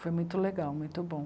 Foi muito legal, muito bom.